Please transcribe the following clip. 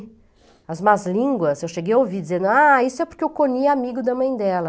As más línguas, eu cheguei a ouvir dizendo isso é porque o Coni é amigo da mãe dela.